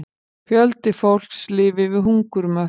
Fjöldi fólks lifi við hungurmörk